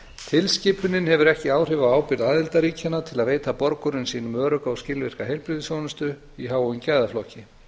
tilskipunin hefur ekki áhrif á ábyrgð aðildarríkjanna til að veita borgurum sínum örugga og skilvirka heilbrigðisþjónustu í háum gæðaflokki